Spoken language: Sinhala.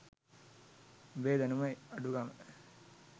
උඹේ දැනුම අඩුකම